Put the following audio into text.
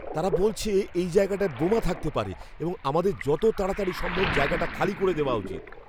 তারা বলছে এই জায়গায়টায় বোমা থাকতে পারে এবং আমাদের যত তাড়াতাড়ি সম্ভব জায়গাটা খালি করে দেওয়া উচিত।